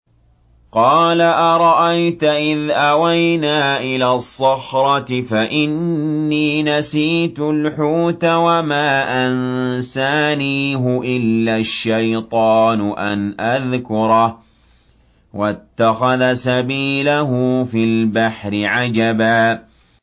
قَالَ أَرَأَيْتَ إِذْ أَوَيْنَا إِلَى الصَّخْرَةِ فَإِنِّي نَسِيتُ الْحُوتَ وَمَا أَنسَانِيهُ إِلَّا الشَّيْطَانُ أَنْ أَذْكُرَهُ ۚ وَاتَّخَذَ سَبِيلَهُ فِي الْبَحْرِ عَجَبًا